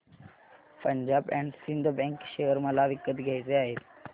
Punjab and Sind bank share मला विकत घ्यायचे आहेत